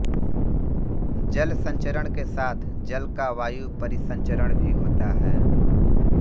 जल संचरण के साथ जल का वायु परिसंचरण भी होता है